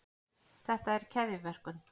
þetta er keðjuverkun